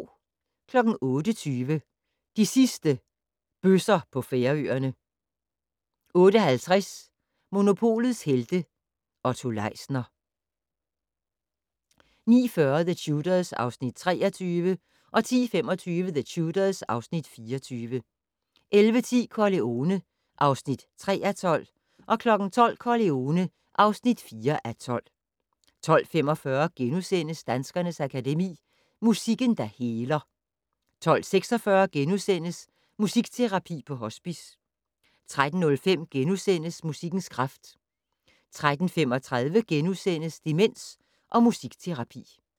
08:20: De sidste bøsser på Færøerne 08:50: Monopolets Helte - Otto Leisner 09:40: The Tudors (Afs. 23) 10:25: The Tudors (Afs. 24) 11:10: Corleone (3:12) 12:00: Corleone (4:12) 12:45: Danskernes Akademi: Musikken, der heler * 12:46: Musikterapi på hospice * 13:05: Musikkens kraft * 13:35: Demens og musikterapi *